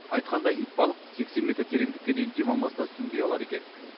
айтқандай итбалық сексен метр тереңдікке дейін дем алмастан сүңги алады екен